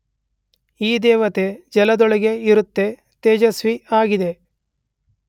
ಈ ದೇವತೆ ಜಲದೊಳಗೆ ಇರುತ್ತ ತೇಜಸ್ವಿಯಾಗಿದೆ.